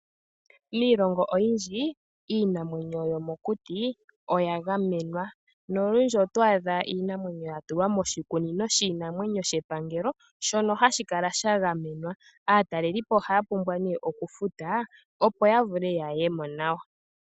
Miilongo oyindji, iinamwenyo yomokuti oya gamenwa nolundji oto adha iinamwenyo ya tulwa moshikunino shiinamwenyo shepangelo, shono hashi kala sha gamenwa. Aatalelipo ohaya pumbwa nee okufuta opo ya vule ya ye mo nawa.